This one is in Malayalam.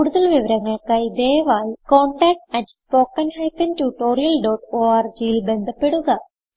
കുടുതൽ വിവരങ്ങൾക്കായി ദയവായി contactspoken tutorialorgൽ ബന്ധപ്പെടുക